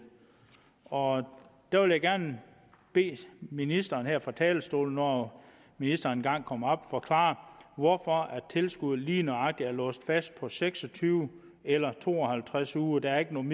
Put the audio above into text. og der vil jeg gerne bede ministeren her fra talerstolen når ministeren engang kommer forklare hvorfor tilskuddet lige nøjagtig er låst fast på seks og tyve eller to og halvtreds uger der er ikke nogen